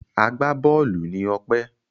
Agbá-bọ́ọ́lù ni Ọpẹ́.